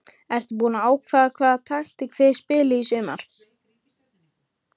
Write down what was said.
Ertu búinn að ákveða hvaða taktík þið spilið í sumar?